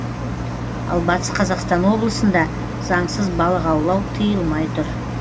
ал батыс қазақстан облысында заңсыз балық аулау тиылмай тұр